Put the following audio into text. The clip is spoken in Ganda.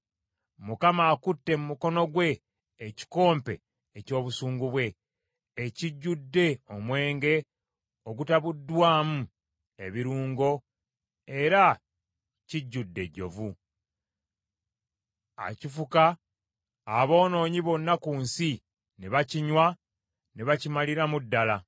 Mukama akutte mu mukono gwe ekikompe eky’obusungu bwe ekijjudde omwenge ogutabuddwamu ebirungo era kijjudde ejjovu; akifuka, aboonoonyi bonna ku nsi ne bakinywa ne bakimaliramu ddala.